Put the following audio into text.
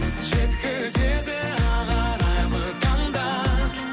жеткізеді ақ арайлы таңдар